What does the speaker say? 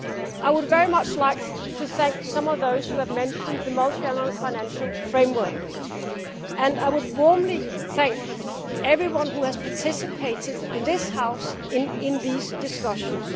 I would very much like to thank some of those who have mentioned the multiannual financial framework and I would warmly thank everyone who has participated in this House in these discussions.